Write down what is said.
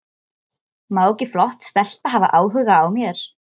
Má ekki flott stelpa hafa áhuga á mér?